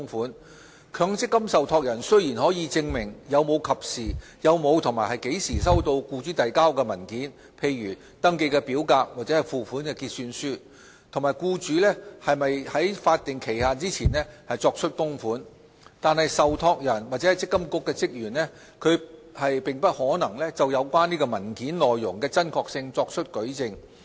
儘管強積金受託人可證明有否及何時收到僱主遞交的文件，例如登記表格或付款結算書，以及僱主有否在法定期限前作出供款，但由於受託人或積金局職員對有關資料不具有親身認識，因而無法就有關文件內容的真確性作出舉證......